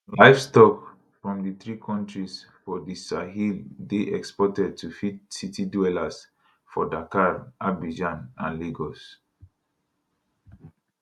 livestock from di three kontris for di sahel dey exported to feed city dwellers for dakar abidjan and lagos